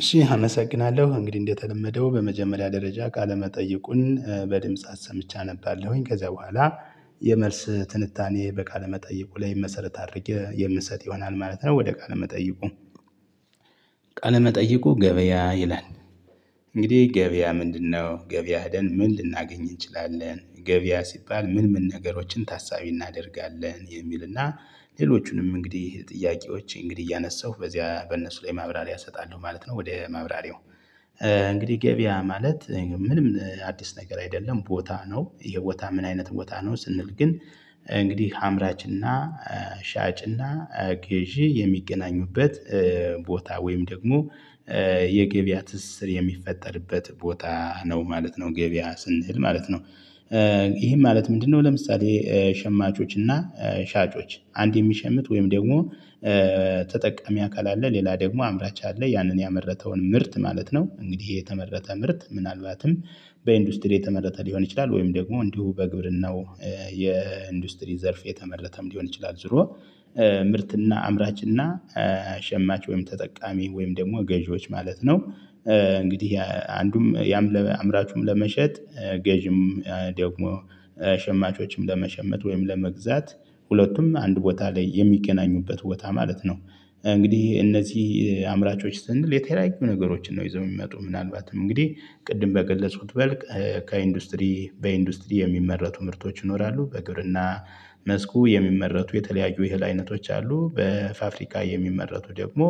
እሺ አመሰግናለሁ እንግዲህ እንደተለመደው በመጀመሪያ ደረጃ ቃለመጠየቁን በድምጽ አሰምቼ አነባለሁኝ ከዛ በኋላ የመልስ ትንታኔ በቃለ መጠይቁ ላይ መሰረት አድርጌ የምንሰጥ ይሆናል ማለት ነው ወደ ቃለ መጠይቁ። ቃለ መጠይቁ ገበያ ይላል። እንግዲህ ገበያ ምንድነው ገበያ ሄደን ምን ልናገኝ እንችላለን? ገበያ ሲባል ምን ምን ነገሮችን ታሳቢ እናደርጋለን? የሚልና ሌሎቹንም እንግዲህ ጥያቄዎች እንግዲህ እያነሳሁ በዚያ በእነሱ ላይ ማብራሪያ እሰጣለሁ ማለት ነው። ወደ ማብራሪያው። እንግዲህ ገበያ ማለት ምንም አዲስ ነገር አይደለም ቦታ ነው የቦታ ምን አይነት ቦታ ነው? ስንል ግን እንግዲህ አምራች እና ሻጭ እና ገዢ የሚገናኙበት ቦታ ወይም ደግሞ የገበያ ትስስር የሚፈጠርበት ቦታ ነው ማለት ነው ገበያ ስንል ማለት ነው። ይሄም ማለት ምንድ ነው? ለምሳሌ ሸማቾች እና ሻጮች አንድ የሚሸምት ወይም ደግሞ ተጠቃሚ አካል አለ ሌላ ደግሞ አምራች አለ ያንን ያመረተውን ምርት ማለት ነው። እንግዲህ የተመረተ ምርት ምናልባትም በኢንዱስትሪ የተመረተ ሊሆን ይችላል። ወይም ደግሞ እንዲሁ በግብርናው የኢንዱስትሪ ዘርፍ የተመረተም ሊሆን ይችላል። ዝሮ ምርትና አምራችና ሸማች ወይም ተጠቃሚ ወይም ደግሞ ገዢዎች ማለት ነው። እንግዲህ አንዱም ያም ለአምራቹም ለመሸጥ ገዢም ደግሞ ሸማቾችም ለመሸመት ወይም ለመግዛት ሁለቱም አንድ ቦታ ላይ የሚገናኙበት ቦታ ማለት ነው። እንግዲህ እነዚህ አምራቾች ስንል የተለያዩ ነገሮችን ነው ይዘው የሚመጡ ምናልባትም እንግዲህ ቅድም በገለጽኩት መልክ ከኢንዱስትሪ በኢንዱስትሪ የሚመረቱ ምርቶች ይኖራሉ። በግብርና መስኩ የሚመረቱ የተለያዩ የእህል አይነቶች አሉ። በፋብሪካ የሚመረቱ ደግሞ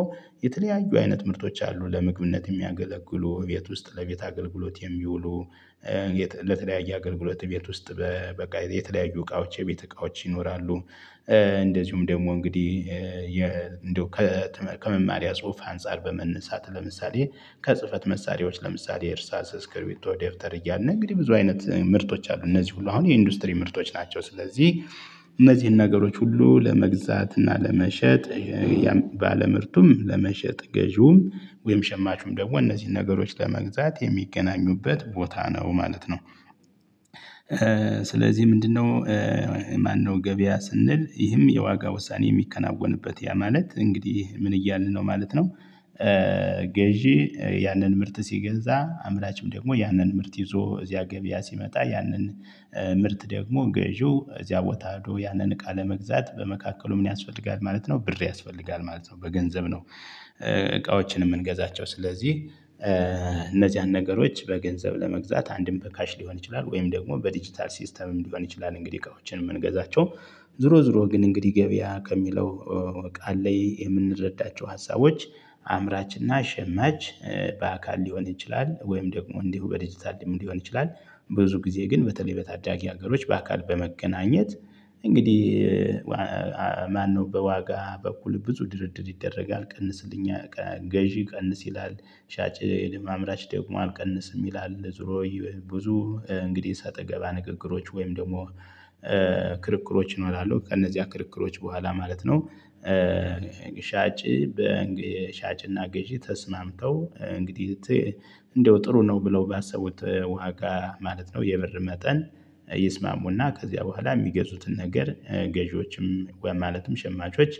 የተለያዩ አይነት ምርቶች አሉ። ለምግብነት የሚያገለግሉ ቤት ውስጥ ለቤት አገልግሎት የሚውሉ ለተለያዩ አገልግሎት ቤት ውስጥ በቃ የተለያዩ እቃዎች የቤት እቃዎች ይኖራሉ። እንደዚሁም ደግሞ እንግዲህ እንደው ከመማሪያ ጽሁፍ አንፃር በመነሳት ለምሳሌ ከጽህፈት መሳሪያዎች ለምሳሌ እርሳስ እስክሪብቶ ደብተር እያልን እንግዲህ ብዙ አይነት ምርቶች አሉ። እነዚህ ሁሉ አሁን የኢንዱስትሪ ምርቶች ናቸው። ስለዚህ እነዚህን ነገሮች ሁሉ ለመግዛት እና ለመሸጥ ባለምርቱም ለመሸጥ ገዢውም ወይም ሸማቹም ደግሞ እነዚህን ነገሮች ለመግዛት የሚገናኙበት ቦታ ነው ማለት ነው። ስለዚህ ምንድነው? ማነው ገበያ ስንል ይህም የዋጋ ውሳኔ የሚከናወንበት ያ ማለት እንግዲህ ምን እያልን ነው ማለት ነው። ገዢ ያንን ምርት ሲገዛ አምራችም ደግሞ ያንን ምርት ይዞ እዚያ ገበያ ሲመጣ ያንን ምርት ደግሞ ገዢው እዚያ ቦታ ሄዶ ያንን እቃ ለመግዛት በመካከሉ ምን ያስፈልጋል ማለት ነው። ብር ያስፈልጋል ማለት ነው። በገንዘብ ነው እቃዎችን የምንገዛቸው ስለዚህ እነዚህ አንድ ነገሮች በገንዘብ ለመግዛት አንድም በካሽ ሊሆን ይችላል። ወይም ደግሞ በዲጂታል ሲስተምም ሊሆን ይችላል። እንግዲህ እቃዎችን የምንገዛቸው ዝሮ ዝሮ ግን እንግዲህ ገበያ ከሚለው ቃል ላይ የምንረዳቸው ሀሳቦች አምራችና ሽማች በአካል ሊሆን ይችላል ወይም ደግሞ እንዲሁ በዲጂታል ሊሆን ይችላል። ብዙ ጊዜ ግን በተለይ በታዳጊ ሀገሮች በአካል በመገናኘት እንግዲህ ማነው በዋጋ በኩል ብዙ ድርድር ይደረጋል ቀንስልኛ ገዢ ቀንስ ይላል። ሻጭ ለአምራች ደግሞ አልቀንስም ይላል ዙሮ ብዙ እንግዲህ ሰጣገባ ንግግሮች ወይም ደግሞ ክርክሮች እኖራለሁ ከእነዚያ ክርክሮች በኋላ ማለት ነው። ሻጭ ሻጭና ገዢ ተስማምተው እንግዲህ እንደው ጥሩ ነው ብለው ባሰቡት ዋጋ ማለት ነው። የብር መጠን ይስማሙና ከዚያ በኋላ የሚገዙትን ነገር ገዢዎችም ማለትም ሸማቾች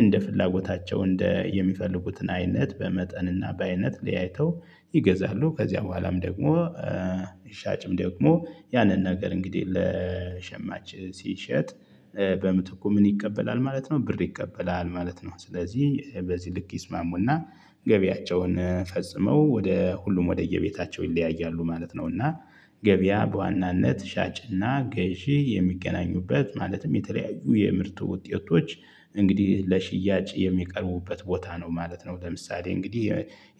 እንደ ፍላጎታቸው እንደ የሚፈልጉትን አይነት በመጠንና በአይነት ሊያይተው ይገዛሉ። ከዚያ በኋላም ደግሞ ሻጭም ደግሞ ያንን ነገር እንግዲህ ለሸማች ሲሸጥ በምትተኩ ምን ይቀበላል ማለት ነው ብር ይቀበላል ማለት ነው። ስለዚህ በዚህ ልክ ይስማሙና ገቢያቸውን ፈጽመው ወደ ሁሉም ወደየቤታቸው ይለያያሉ ማለት ነው። እና ገበያ በዋናነት ሻጭና ገዢ የሚገናኙበት ማለትም የተለያዩ የምርት ውጤቶች እንግዲህ ለሽያጭ የሚቀርቡበት ቦታ ነው ማለት ነው። ለምሳሌ እንግዲህ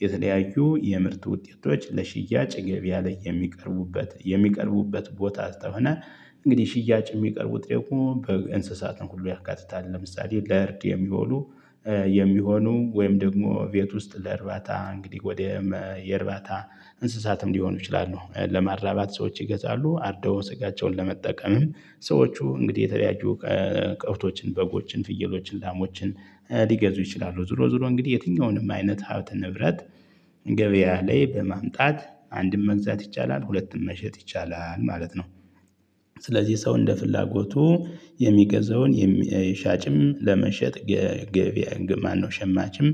የተለያዩ የምርት ውጤቶች ለሽያጭ ገበያ ላይ የሚቀርቡበት የሚቀርቡበት ቦታ አስከሆነ። እንግዲህ ሽያጭ የሚቀርቡ ደግሞ በእንስሳት ነው ሁሉ ያካትታል። ለምሳሌ ለእርድ የሚሆኑ የሚሆኑ ወይም ደግሞ ቤት ውስጥ ለእርባታ እንግዲህ ወደ የእርባታ እንስሳትም ሊሆኑ ይችላሉ። ለማራባት ሰዎች ይገዛሉ አርደው ስጋቸውን ለመጠቀምም ሰዎቹ እንግዲህ የተለያዩ ከብቶችን በጎችን ፍየሎችን ላሞችን ሊገዙ ይችላሉ። ዙሮ ዙሮ እንግዲህ የትኛውንም አይነት ሀብት ንብረት ገበያ ላይ በማምጣት አንድም መግዛት ይቻላል ሁለትም መሸጥ ይቻላል ማለት ነው። ስለዚህ ሰው እንደ ፍላጎቱ የሚገዛውን ሻጭም ለመሸጥ የገበያን ግን ማን ማነው ሸማችም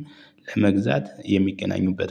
ለመግዛት የሚገናኙበት